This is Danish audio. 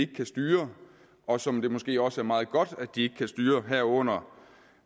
kan styre og som det måske også er meget godt at de ikke kan styre herunder